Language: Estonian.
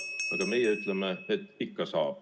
Aga meie ütleme, et ikka saab.